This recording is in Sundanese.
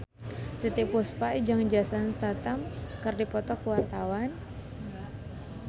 Titiek Puspa jeung Jason Statham keur dipoto ku wartawan